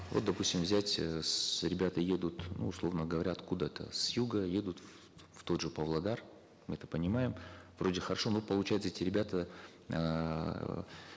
вот допустим взять э с ребята едут ну условно говоря откуда то с юга едут в тот же павлодар это понимаем вроде хорошо но получается эти ребята эээ